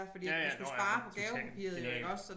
Ja ja nåh ja totalt genialt